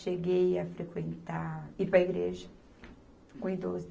Cheguei a frequentar, ir para a igreja, com idoso.